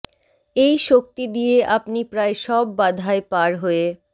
এই শক্তি দিয়ে আপনি প্রায় সব বাধাই পার হয়ে